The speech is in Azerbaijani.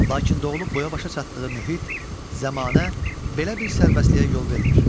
Lakin doğulub boya-başa çatdığı mühit, zəmanə belə bir sərbəstliyə yol vermir.